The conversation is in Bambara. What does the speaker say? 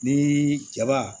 Ni jaba